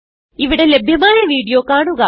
ഇവിടെ ലഭ്യമായ വീഡിയോ കാണുക